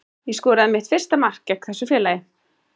Ég skoraði mitt fyrsta mark gegn þessu félagi.